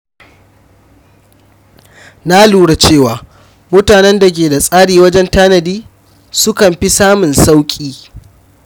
Na lura cewa mutanen da ke da tsari wajen tanadi sukan fi samun sauƙi.